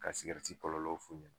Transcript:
Ka kɔlɔlɔw f'u ɲɛna